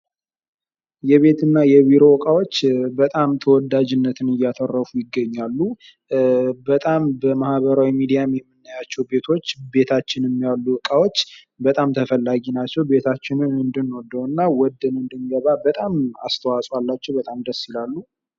የቤትና የቢሮ እቃዎች በጣም ተወዳጅነት እየተረፉ ይገኛሉ በጣም ተወዳጅነት ያላቸው ፤ በማህበራዊ ሚዲያ የምናያቸውን እቃዎች ቤታችንም የምናገኛቸው ዕቃዎች በጣም ተፈላጊ ናቸው እና ቤታችንን ወደነው እንድንገባ በጣም ከፍተኛ አስተዋጾ ያደርጋሉ።